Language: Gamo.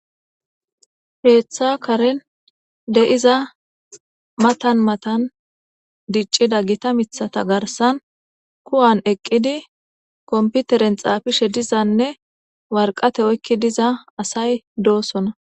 Keeththa karen de7iza matan matan diccida gita mithata garsan kuwan eqqidi komputeren xaafishe dizanne warqate oykki diza asay doosona.